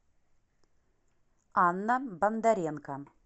анна бондаренко